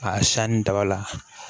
A sanni daba la